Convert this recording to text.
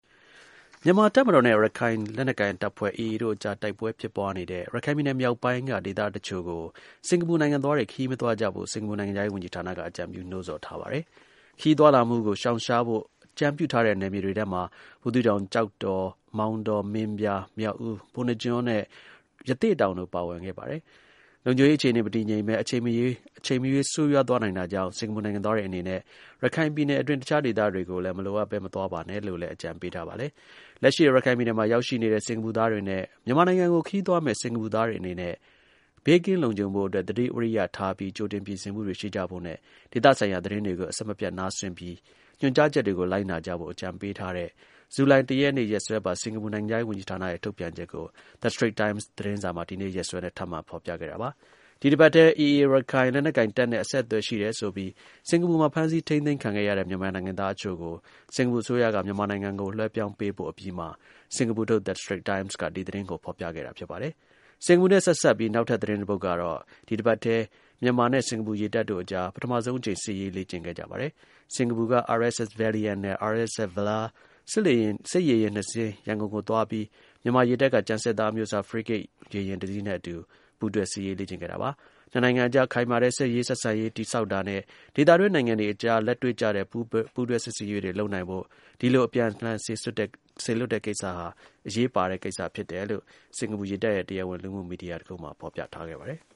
မြန်မာ တပ်မတော်နဲ့ ရခိုင် လက်နက်ကိုင်တပ်ဖွဲ့ AA တို့အကြား တိုက်ပွဲ ဖြစ်ပွားနေတဲ့ ရခိုင်ပြည်နယ်အတွင်းက ဒေသ တစ်ချို့ကို စင်္ကာပူနိုင်ငံသားတွေ ခရီးမသွားကြဖို့ စင်္ကာပူနိုင်ငံခြားရေး ဝန်ကြီးဌာနက အကြံပြု နှိုးဆော်ထားပါတယ်။ ခရီးသွားလာမှု ရှောင်ရှားဖို့ အကြံပြုထားတဲ့ နယ်မြေတွေထဲမှာ ဘူးသီးတောင်၊ ကျောက်တော်၊ မောင်းတော၊ မင်းပြား၊ မြောက်ဦး၊ ပုဏ္ဏားကျွန်း နဲ့ ရသေ့တောင်တို့ ပါဝင်ပါတယ်။ လုံခြုံရေး အခြေအနေ မတည်ငြိမ်ဘဲ အချိန်မရွေး ဆိုးရွားသွားနိုင်တာကြောင့် စင်္ကာပူနိုင်ငံသားတွေ အနေနဲ့ ရခိုင်ပြည်နယ်အတွင်း တစ်ခြားဒေသတွေကိုလည်း မလိုအပ်ဘဲ မသွားပါနဲ့လို့လည်း အကြံပေးထားပါတယ်။ လက်ရှိ ရခိုင်ပြည်နယ်မှာ ရောက်ရှိနေတဲ့ စင်္ကာပူသားတွေနဲ့ မြန်မာနိုင်ငံကို ခရီးသွားမယ့် စင်္ကာပူသားတွေအနေနဲ့ ဘေးကင်း လုံခြုံ ဖို့အတွက် သတိ ဝီရိယထားပြီး ကြိုတင် ပြင်ဆင်မှုတွေ ရှိကြဖို့နဲ့ ဒေသဆိုင်ရာသတင်းတွေကို အဆက်မပြတ် နားစွင့်ပြီး ညွှန်ကြားချက်တွေကို လိုက်နာကြဖို့ အကြံပေးထားတဲ့ ဇူလိုင် ၁ ရက်နေ့ ရက်စွဲပါ စင်္ကာပူ နိုင်ငံခြားရေးဝန်ကြီးဌာနရဲ့ ထုတ်ပြန်ချက်ကို The Strait Times သတင်းစာက ဒီနေ့ ရက်စွဲနဲ့ ထပ်မံ ဖော်ပြခဲ့တာပါ။ ဒီ အပတ်ထဲ AA ရခိုင် လက်နက်ကိုင်တပ်နဲ့ အဆက်အသွယ် ရှိတယ်ဆိုပြီး စင်္ကာပူမှာ ဖမ်းဆီး ထိန်းသိမ်းခံခဲ့ရတဲ့ မြန်မာနိုင်ငံသား အချို့ကို စင်္ကာပူအစိုးရက မြန်မာနိုင်ငံကို လွှဲပြောင်းပေးပို့ အပြီးမှာ စင်္ကာပူထုတ် The Strait Times က ဒီ သတင်းကို ဖော်ပြခဲ့တာ ဖြစ်ပါတယ်။ စင်္ကာပူနဲ့ ဆက်စပ်ပြီး နောက်ထပ် သတင်း တခုကတော့ ဒီ တစ်ပတ်ထဲ မြန်မာနဲ့ စင်္ကာပူရေတပ်တို့အကြား ပထမဆုံးအကြိမ် စစ်ရေး လေ့ကျင့်ခဲ့ကြပါတယ်။ စင်္ကာပူက RSS Valiant နဲ့ RSS Valour စစ်ရေယာဉ် နှစ် စင်း ရန်ကုန်ကို သွားပြီး မြန်မာ ရေတပ်က ကျန်စစ်သား အမျိုးအစား ဖရီးဂိတ် ရေယာဉ် တစ်စီးနဲ့အတူ ပူးတွဲ စစ်ရေးလေ့ကျင့်ခဲ့တာပါ။ နှစ် နိုင်ငံအကြား ခိုင်မာတဲ့ စစ်ရေးဆက်ဆံရေး တည်ဆောက်တာနဲ့ ဒေသတွင်း နိုင်ငံတွေအကြား လက်တွေ့ကျတဲ့ ပူးတွဲ စစ်ဆင်ရေးတွေ လုပ်နိုင်ဖို့ ဒီလို အပြန်အလှန် စေလွှတ်တဲ့ကိစ္စဟာ အရေးပါတယ်လို့ စင်္ကာပူရေတပ်ရဲ့ တရားဝင် လူမှု မီဒီယာတစ်ခုမှာ ဖော်ပြထားပါတယ်။